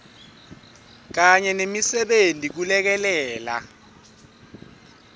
kanye nemisebenti kulekelela